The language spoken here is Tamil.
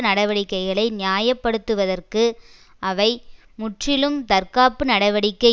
நடவடிக்கைகளை நியாய படுத்துவதற்கு அவை முற்றிலும் தற்காப்பு நடவடிக்கை